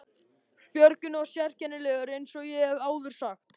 Björgvin var sérkennilegur eins og ég hef áður sagt.